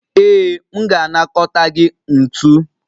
Ee, m ga-anakọta gị ntu